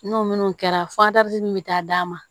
N'o minnu kɛra min bɛ taa d'a ma